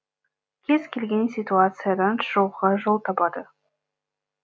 кез келген ситуациядан шығуға жол табады